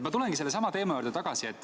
Ma tulengi sellesama teema juurde tagasi.